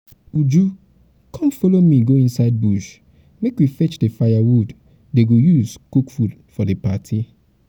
uju come follow me go inside bush make we fetch the firewood dey go use cook food for the party